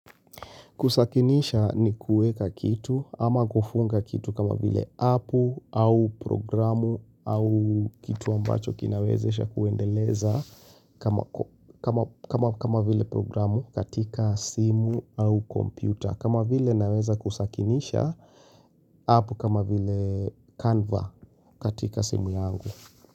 Kusakinisha ni kuweka kitu ama kufunga kitu kama vile apu au programu au kitu ambacho kinawezesha kuendeleza kama vile programu katika simu au kompyuta. Kama vile naweza kusakinisha apu kama vile canva katika simu yangu.